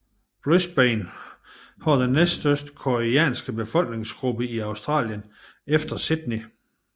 Brisbane har den næststørste koreanske befolkningsgruppe i Australien efter Sydney